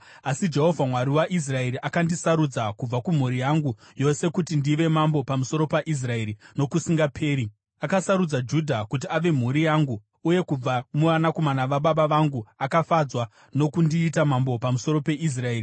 “Asi Jehovha, Mwari waIsraeri, akandisarudza kubva kumhuri yangu yose kuti ndive mambo pamusoro paIsraeri nokusingaperi. Akasarudza Judha kuti ave mhuri yangu, uye kubva muvanakomana vababa vangu akafadzwa nokundiita mambo pamusoro peIsraeri.